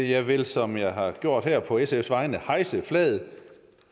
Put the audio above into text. jeg vil som jeg har gjort her på sfs vegne hejse flaget